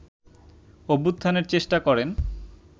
অভ্যুত্থানের চেষ্টা করেন